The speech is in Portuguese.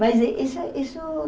Mas isso isso